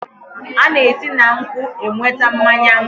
A na-esi na nkwụ enweta mmanya nkwụ